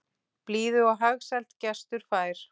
Blíðu og hagsæld gestur fær.